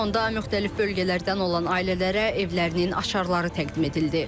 Sonda müxtəlif bölgələrdən olan ailələrə evlərinin açarları təqdim edildi.